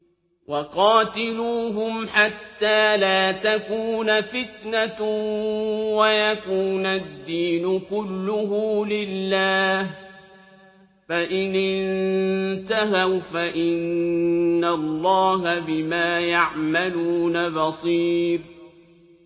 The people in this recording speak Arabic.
وَقَاتِلُوهُمْ حَتَّىٰ لَا تَكُونَ فِتْنَةٌ وَيَكُونَ الدِّينُ كُلُّهُ لِلَّهِ ۚ فَإِنِ انتَهَوْا فَإِنَّ اللَّهَ بِمَا يَعْمَلُونَ بَصِيرٌ